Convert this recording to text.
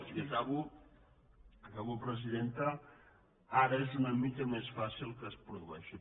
i acabo presidenta ara és una mica més fàcil que es produeixin